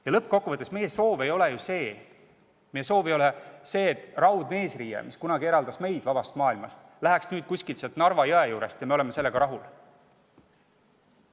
Ja lõppkokkuvõttes, meie soov ei ole ju see, et raudne eesriie, mis kunagi eraldas meid vabast maailmast, läheks nüüd kuskilt sealt Narva jõe juurest ja me oleksime sellega rahul.